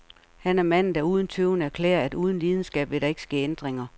Han er manden, der uden tøven erklærer, at uden lidenskab vil der ikke ske ændringer.